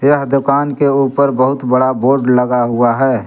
यह दुकान के ऊपर बहुत बड़ा बोर्ड लगा हुआ है।